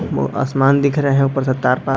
वो आसमान दिख रहे है ऊपर से तार पार --